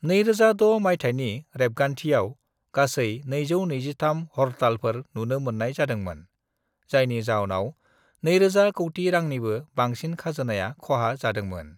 "2006 मायथाइनि रेबगान्थियाव गासै 223 हड़तालफोर नुनो मोन्नाय जादोंमोन, जायनि जाउनाव 2,000 कौटि रांनिबो बांसिन खाजोनाया खहा जादोंमोन।"